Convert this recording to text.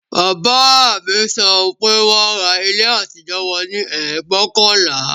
Bàbá mi sọ pé wọn ra ilé àtijọ́ wọn ní ẹgbóokànlá